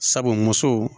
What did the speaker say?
Sabu muso